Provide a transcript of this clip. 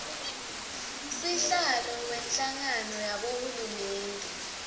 sihlalo wenhlangano yabohulumende